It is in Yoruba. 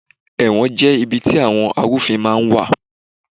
Ẹ̀wọ̀n jẹ́ ibi tí àwọn àrúfin máa ń wà